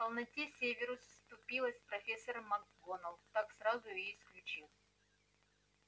полноте северус вступилась профессора макгонагалл так сразу и исключил